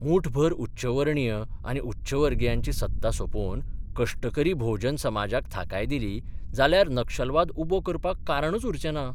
मुठभर उच्चवर्णीय आनी उच्चवर्गियांची सत्ता सोपोवन कश्टकरी भोवजन समाजाक थाकाय दिली जाल्यार नक्षलवाद उबो करपाक कारणूच उरचें ना.